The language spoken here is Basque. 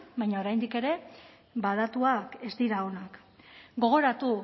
baina oraindik ere ba datuak ez dira onak gogoratu